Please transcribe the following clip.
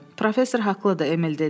Professor haqlıdır, Emil dedi.